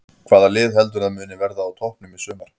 Hvaða lið heldurðu að muni verða á toppnum í sumar?